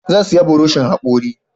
Zan saya buroshin hakori